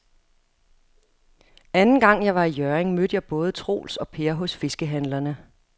Anden gang jeg var i Hjørring, mødte jeg både Troels og Per hos fiskehandlerne.